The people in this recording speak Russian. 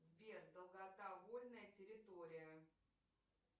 сбер долгота вольная территория